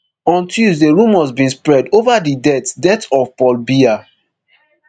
on tuesday rumours being spread ova di death death of paul biya